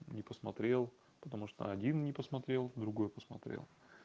не посмотрел потому что один не посмотрел другой посмотрел